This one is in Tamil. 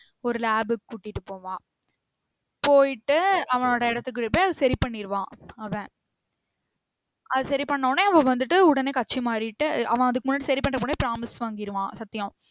ஒரு lab க்கு கூட்டிட்டு போவான் போயிட்டு அவனோட இடத்துக்குள்ள போயி அத சரி பண்ணிருவான் அவன் அத சரி பன்னவோடனே அவ வந்திட்டு உடனே கட்சி மாறிட்டு அவன் அதுக்கு முன்னாடி சரி பண்ற முன்னாடி promise வாங்கிர்வான் சத்தியம்